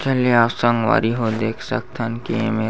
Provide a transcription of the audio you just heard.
चलिये आज संगवारी हो देख सकथन की एमे--